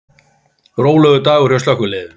Rólegur dagur hjá slökkviliðinu